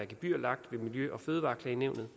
gebyr i miljø og fødevareklagenævnet